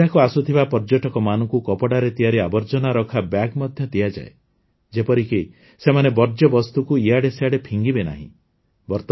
ଏଠାକୁ ଆସୁଥିବା ପର୍ଯ୍ୟଟକମାନଙ୍କୁ କପଡ଼ାରେ ତିଆରି ଆବର୍ଜନାରଖା ବ୍ୟାଗ୍ ମଧ୍ୟ ଦିଆଯାଏ ଯେପରିକି ସେମାନେ ବର୍ଜ୍ୟବସ୍ତୁକୁ ଇଆଡ଼େ ସିଆଡ଼େ ଫିଙ୍ଗିବେ ନାହିଁ